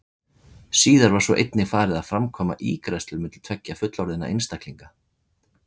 Síðar var svo einnig farið að framkvæma ígræðslur milli tveggja fullorðinna einstaklinga.